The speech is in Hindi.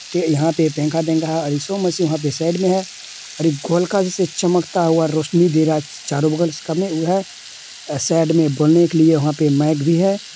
यहाँ पर इशू मसीह वह पे साइड इ है और एक गोल का जो चमकदार रौशनी चारो बगल से वो है साइड में बोलने के लिए वहाँ पे माइक भी है।